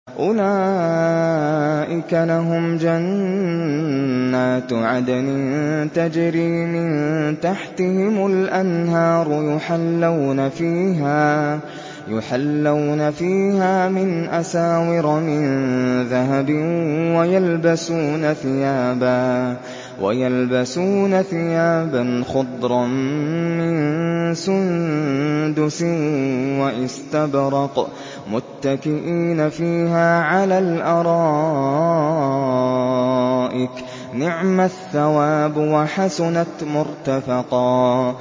أُولَٰئِكَ لَهُمْ جَنَّاتُ عَدْنٍ تَجْرِي مِن تَحْتِهِمُ الْأَنْهَارُ يُحَلَّوْنَ فِيهَا مِنْ أَسَاوِرَ مِن ذَهَبٍ وَيَلْبَسُونَ ثِيَابًا خُضْرًا مِّن سُندُسٍ وَإِسْتَبْرَقٍ مُّتَّكِئِينَ فِيهَا عَلَى الْأَرَائِكِ ۚ نِعْمَ الثَّوَابُ وَحَسُنَتْ مُرْتَفَقًا